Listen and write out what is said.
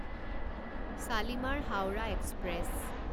Shalimar Howrah express